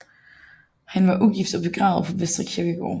Han var ugift og er begravet på Vestre Kirkegård